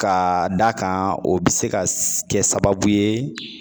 Ka da kan o bi se ka kɛ sababu ye